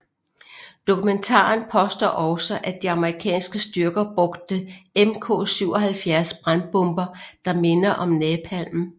Dokumentaren påstår også at de amerikanske styrker brugte Mk 77 brandbomber der minder om napalm